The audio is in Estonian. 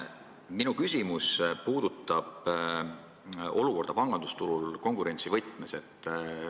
Minu küsimus puudutab olukorda pangandusturul konkurentsi mõttes.